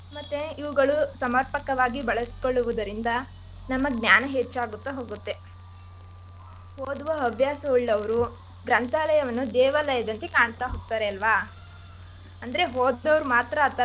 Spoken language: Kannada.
ಮತ್ತೆ ಇವ್ಗಳು ಸಮರ್ಪಕವಾಗಿ ಬಳಸ್ಕೊಳ್ಳುವುದರಿಂದ ನಮ್ಮ ಜ್ಞಾನ ಹೆಚ್ಚಾಗುತ್ತಾ ಹೋಗುತ್ತೆ. ಓದುವ ಹವ್ಯಾಸ ಉಳ್ಳವರು ಗ್ರಂಥಾಲಯವನ್ನು ದೇವಾಲಯದಂತ್ತೆ ಕಾಣ್ತಾ ಹೋಗ್ತಾರೆ ಅಲ್ವಾ ಅಂದ್ರೆ ಓದವ್ರ್.